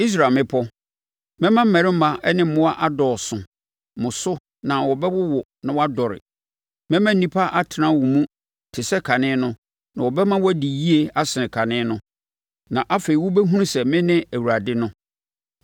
Israel mmepɔ, mɛma mmarima ne mmoa adɔɔso mo so na wɔbɛwowo na wɔadɔre, mɛma nnipa atena wo mu te sɛ kane no na wɔbɛma woadi yie asene kane no. Na afei mobɛhunu sɛ mene Awurade no.